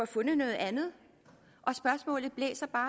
fundet noget andet og spørgsmålet blæser bare